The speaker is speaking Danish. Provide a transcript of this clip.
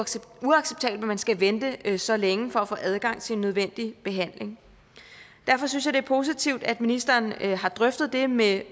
uacceptabelt man skal vente så længe for at få adgang til nødvendig behandling derfor synes jeg det er positivt at ministeren har drøftet det med